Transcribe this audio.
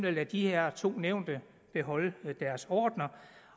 at lade de her to nævnte beholde deres ordener